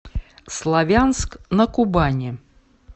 славянск на кубани